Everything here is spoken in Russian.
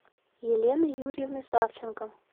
елены юрьевны савченко